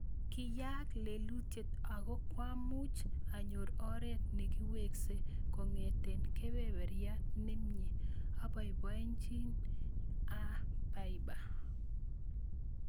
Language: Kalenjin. Kiyaak lelutiet ako kwamuch anyor oret nekiwekse kongete kepeperiat ne mnye, aboiboichin aa Bieber.